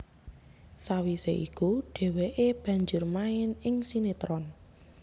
Sawisé iku dhèwèké banjur main ing sinetron